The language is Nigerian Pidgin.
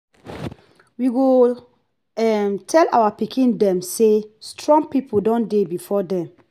we go um tell our pikin dem say strong people don dey before dem.